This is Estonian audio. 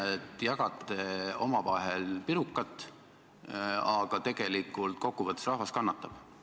Te jagate omavahel pirukat, aga rahvas kannatab.